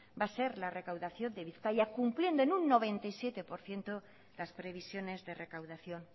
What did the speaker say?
va a ser la recaudación de bizkaia cumpliendo en un noventa y siete por ciento las previsiones de recaudación